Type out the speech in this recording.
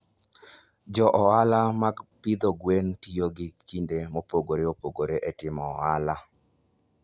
Jo ohala mag pidho gwen tiyo gi kinde mopogore opogore e timo ohala.